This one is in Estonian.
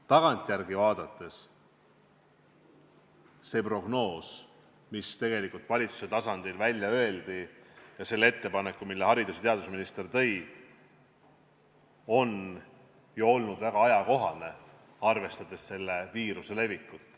Tagantjärele vaadates see prognoos, mis valitsustasandil välja öeldi, ja see ettepanek, mille haridus- ja teadusminister esitas, olid ju väga ajakohased, arvestades selle viiruse levikut.